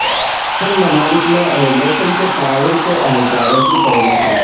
اہم ممالک میں امیگریشن کے تعاون کے اہلکاروں کی تیعناتی